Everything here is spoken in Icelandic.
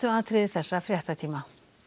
þessum fréttatíma